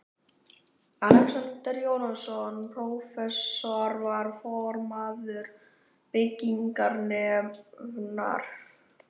Alexander Jóhannesson, prófessor, var formaður byggingarnefndar